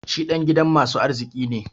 Shi dan gidan masu arziki ne.